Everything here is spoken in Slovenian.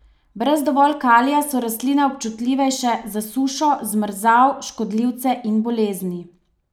Brez dovolj kalija so rastline občutljivejše za sušo, zmrzal, škodljivce in bolezni.